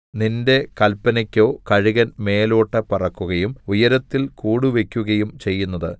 നിന്റെ കല്പനക്കോ കഴുകൻ മേലോട്ട് പറക്കുകയും ഉയരത്തിൽ കൂടുവയ്ക്കുകയും ചെയ്യുന്നതു